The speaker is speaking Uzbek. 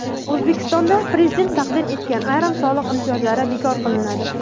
O‘zbekistonda Prezident taqdim etgan ayrim soliq imtiyozlari bekor qilinadi.